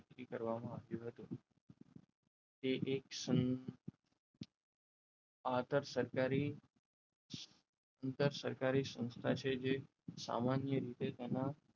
નક્કી કરવામાં આવ્યો હતો તે એક આકર્ષ સરકારી સરકારી સંસ્થા છે જે સામાન્ય રીતે તેમાં